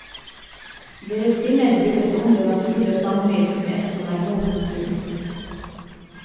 Deres kvinner byttet om det naturlige samliv med et som er mot naturen.